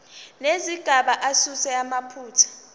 nezigaba asuse amaphutha